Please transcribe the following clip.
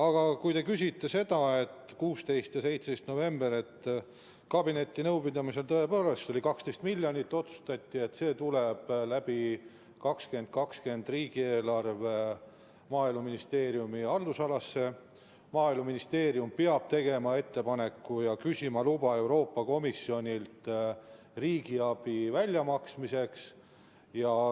Aga kui te küsite 16. ja 17. novembri kohta, siis kabinetinõupidamisel tõepoolest oli see 12 miljonit ja otsustati, et see tuleb 2020. aasta riigieelarvega Maaeluministeeriumi haldusalasse, Maaeluministeerium peab tegema ettepaneku ja küsima luba Euroopa Komisjonilt riigiabi väljamaksmiseks.